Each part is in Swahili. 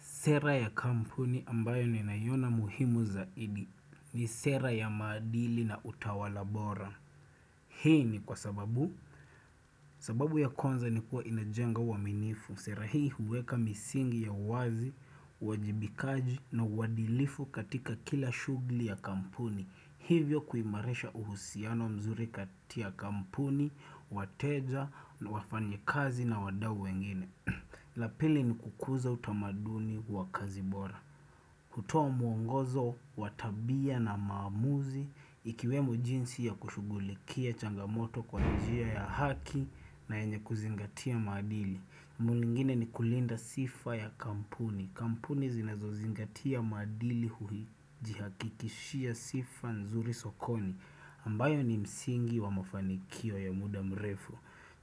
Sera ya kampuni ambayo ninaiona muhimu zaidi. Ni sera ya maadili na utawala bora. Hii ni kwa sababu. Sababu ya kwanza ni kuwa inajenga uaminifu. Sera hii huweka misingi ya wazi, uwajibikaji na uadilifu katika kila shughli ya kampuni. Hivyo kuimarisha uhusiano mzuri kati ya kampuni, wateja, wafanyikazi na wadau wengine. La pili ni kukuza utamaduni wa kazi bora. Kutoa muongozo wa tabia na maamuzi ikiwemo jinsi ya kushughulikia changamoto kwa njia ya haki na yenye kuzingatia maadili mwengine ni kulinda sifa ya kampuni Kampuni zinazozingatia maadili hujihakikishia sifa nzuri sokoni ambayo ni msingi wa mafanikio ya muda mrefu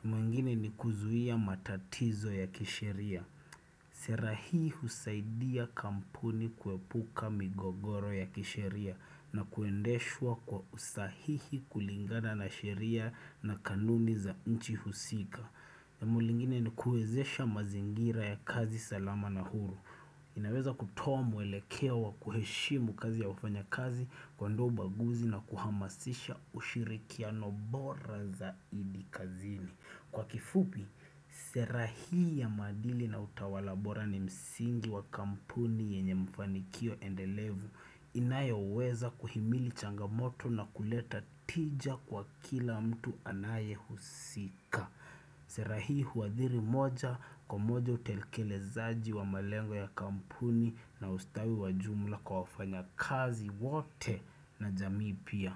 mwengine ni kuzuia matatizo ya kisheria Sera hii husaidia kampuni kuepuka migogoro ya kisheria na kuendeshwa kwa usahihi kulingana na sheria na kanuni za nchi husika jambo lingine ni kuwezesha mazingira ya kazi salama na huru inaweza kutoa mwelekeo wa kuheshimu kazi ya wafanyakazi kuondoa ubaguzi na kuhamasisha ushirikiano bora zaidi kazini Kwa kifupi, sera hii ya maadili na utawala bora ni msingi wa kampuni yenye mfanikio endelevu inayoweza kuhimili changamoto na kuleta tija kwa kila mtu anayehusika. Sera hii huadhiri moja kwa moja utelikelezaji wa malengo ya kampuni na ustawi wa jumla kwa wafanyakazi wote na jamii pia.